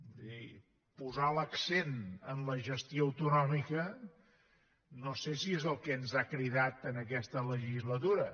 és a dir posar l’accent en la gestió autonòmica no sé si és el que ens ha cridat en aquesta legislatura